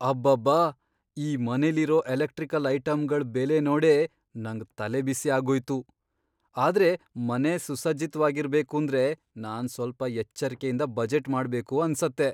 ಅಬ್ಬಬ್ಬಾ! ಈ ಮನೆಲಿರೋ ಎಲೆಕ್ಟ್ರಿಕಲ್ ಐಟಂಗಳ್ ಬೆಲೆ ನೋಡೇ ನಂಗ್ ತಲೆಬಿಸಿ ಆಗೋಯ್ತು! ಆದ್ರೆ ಮನೆ ಸುಸಜ್ಜಿತ್ವಾಗಿರ್ಬೇಕೂಂದ್ರೆ ನಾನ್ ಸ್ವಲ್ಪ ಎಚ್ಚರ್ಕೆಯಿಂದ ಬಜೆಟ್ ಮಾಡ್ಬೇಕು ಅನ್ಸತ್ತೆ.